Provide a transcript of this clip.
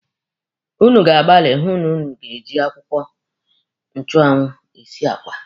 Ụnụ ga-agbali hụ na ụnụ ga-eji akwụkwọ nchụanwụ esi àgwà.